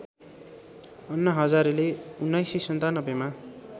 अन्ना हजारेले १९९७ मा